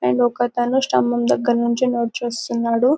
and ఒక అతను స్తంభం దగ్గర నుంచి నడిచి వస్తున్నాడు --